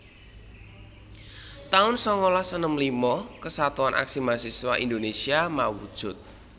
taun sangalas enem lima Kesatuan Aksi Mahasiswa Indonésia mawujud